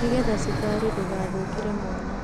Nĩgetha cukari ndũgathũkĩre mwana